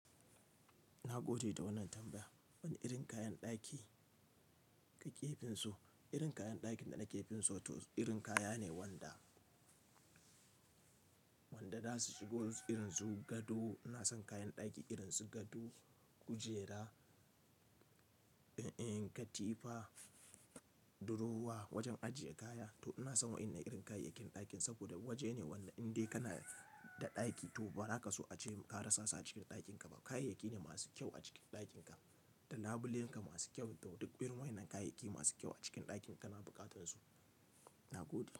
Na gode da wannan tambayan. Wane irin kayan ɗaki ka ke dasu? Irin kayan ɗakin da nake finso toh, irin kaya ne wanda, wanda zasu shigo irin su gado ina son kayan daki irin su gado, kujera, katifa, durowa, wajen ajiye kaya. To ina son wa'innan irin kayayyakin ɗakin saboda waje ne wanda in dai kana da ɗaki to ba ra a so ka ce ka rasa su a cikin ɗakin ka ba. Kayayyaki ne masu kyau a cikin ɗakin ka, da labulen ka masu kyau, toh duk irin wa'innan kayayyaki masu kyau a cikin ɗakin ka toh kana buƙatar su, nagode.